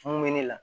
Mun bɛ ne la